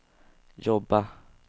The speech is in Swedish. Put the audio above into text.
jobba